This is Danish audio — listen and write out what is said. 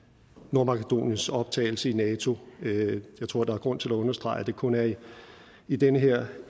nordmakedoniens optagelse i nato jeg tror at der er grund til at understrege at det kun er i i den her